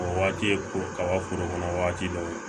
O waati ye ko kaba foro kɔnɔ wagati dɔ ye